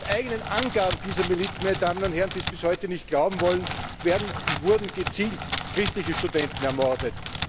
Laut eigenen Angaben dieser Miliz meine Damen und Herren, die es bis heute nicht glauben wollen wurden gezielt christliche Studenten ermordet.